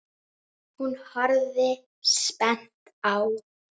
Hún horfir spennt á.